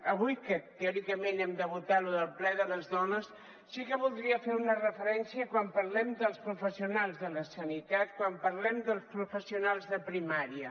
avui què teòricament hem de votar lo del ple de les dones sí que voldria fer una referència a quan parlem dels professionals de la sanitat quan parlem dels professionals de primària